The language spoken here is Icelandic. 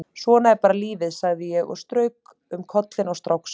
Svona er bara lífið, sagði ég og strauk um kollinn á stráksa.